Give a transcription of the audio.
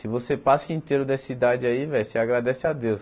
Se você passa inteiro dessa idade aí velho, você agradece a Deus.